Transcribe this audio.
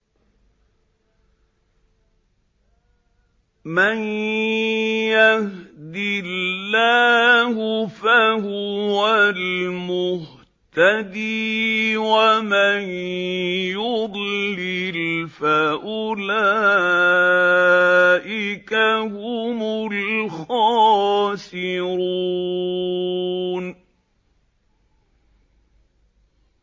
مَن يَهْدِ اللَّهُ فَهُوَ الْمُهْتَدِي ۖ وَمَن يُضْلِلْ فَأُولَٰئِكَ هُمُ الْخَاسِرُونَ